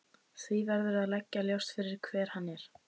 Því verður að liggja ljóst fyrir hver hann er.